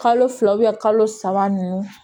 Kalo fila kalo saba ninnu